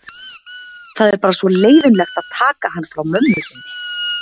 Það er bara svo leiðinlegt að taka hann frá mömmu sinni.